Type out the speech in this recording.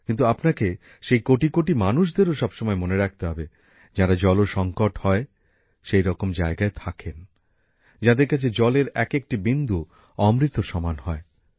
কিন্তু আপনাকে সেই কোটি কোটি মানুষদেরও সবসময় মনে রাখতে হবে যাঁরা জলসঙ্কট হয় সেইরকম জায়গায় থাকেন যাঁদের কাছে জলের এক একটি বিন্দু অমৃত সমান হয়